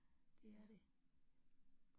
Det er det